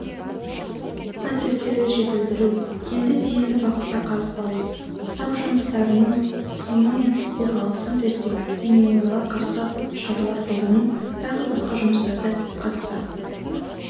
процестерді жетілдіру кенді тиімді бағытта қазып алу тау жыныстарының қысымы мен қозғалысын зерттеу және оларға қарсы шаралар қолдану тағы басқа жұмыстарда қатысады